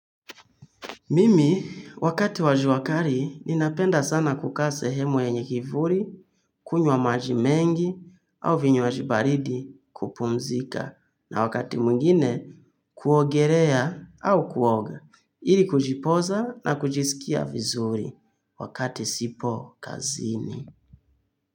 Mimi, wakati wa jua kali, ninapenda sana kukaa sehemu yenye kivuli, kunywa maji mengi, au vinywaji baridi kupumzika. Na wakati mwingine, kuogelea au kuoga. Ili kujipoza na kujisikia vizuri wakati sipo kazini.